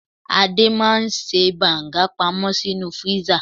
Adé máa ń ṣe banga pamó sínú freezer.